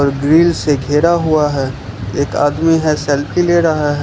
Grill से घेरा हुआ है एक आदमी है सेल्फी ले रहा है।